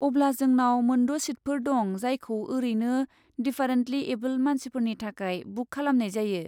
अब्ला जोंनाव मोन द' सिटफोर दं जायखौ ओरैनो डिफारेन्टलि एबोल्ड मानसिफोरनि थाखाय बुक खालामनाय जायो।